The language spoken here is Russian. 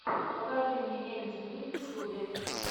покажи мне эм ти ви в ютьюбе